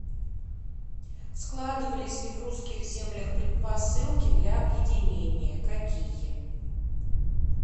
складывались ли в русских землях предпосылки для объединения какие